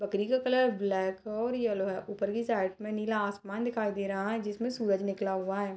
बकरी का colour black और येलो है ऊपर की साइड में नीला आसमान दिखाई दे रहा है जिसमें सूरज निकला हुआ है।